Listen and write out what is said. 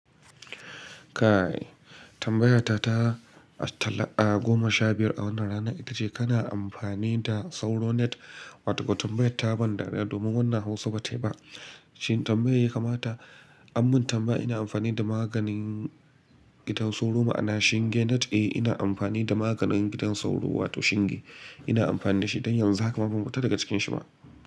Kai, tambayata ta talla, ah goma sha biyar a wannan rana ita ce kana amfani da soro net? Wato tambayota ta ban dariya domin wannan Hausa ba ta yi ba. Shin tambayar ya kamata an mun tambaya ina amfani da maganin gidan soro ma'ana shinge net? Eh ina amfani da maganin gidan sauro wato shinge. Ina amfani da shi don yanzu haka ban fito daga cikin shi ba.